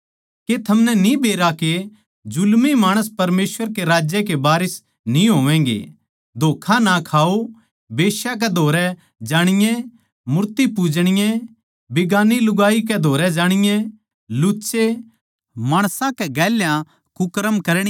के थमनै न्ही बेरा के जुल्मी माणस परमेसवर के राज्य के वारिस ना होवैगें धोक्खा ना खाओ बेश्या कै धोरै जाणीए मूर्ति पूजणीये बिगान्नी लुगाई कै धोरै जाणीए लुच्चे माणसां कै गेल्या कुकर्म करणीये